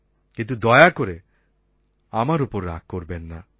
কিন্তু দয়া করে আমার ওপর রাগ করবেন না